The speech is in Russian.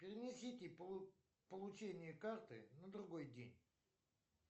перенесите получение карты на другой день